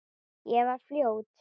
Ég var fljót.